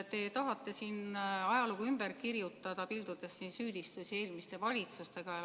Te tahate siin ajalugu ümber kirjutada, pildudes süüdistusi eelmiste valitsuste pihta.